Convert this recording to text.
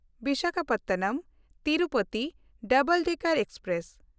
ᱵᱤᱥᱟᱠᱷᱟᱯᱚᱴᱱᱚᱢ–ᱛᱤᱨᱩᱯᱚᱛᱤ double decker express